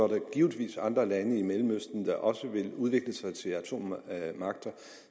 der givetvis andre lande i mellemøsten der også vil udvikle sig til atommagter og